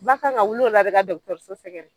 Ba kan ka wili o de la ka dɔgɔtɔrɔso sɛgɛrɛ.